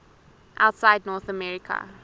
outside north america